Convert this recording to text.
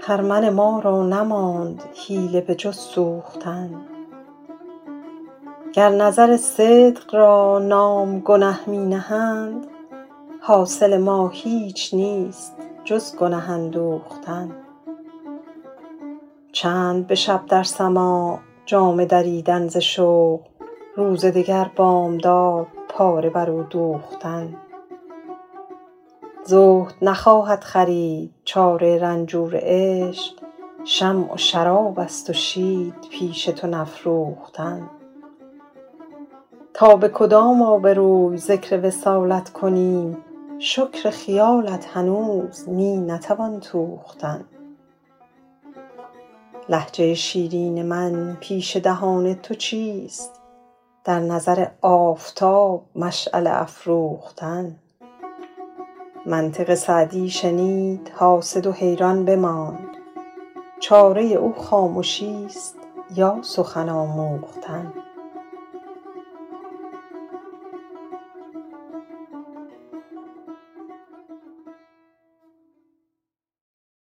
خرمن ما را نماند حیله به جز سوختن گر نظر صدق را نام گنه می نهند حاصل ما هیچ نیست جز گنه اندوختن چند به شب در سماع جامه دریدن ز شوق روز دگر بامداد پاره بر او دوختن زهد نخواهد خرید چاره رنجور عشق شمع و شراب است و شید پیش تو نفروختن تا به کدام آبروی ذکر وصالت کنیم شکر خیالت هنوز می نتوان توختن لهجه شیرین من پیش دهان تو چیست در نظر آفتاب مشعله افروختن منطق سعدی شنید حاسد و حیران بماند چاره او خامشیست یا سخن آموختن